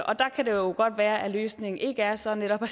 og der kan det jo godt være at løsningen ikke er så netop at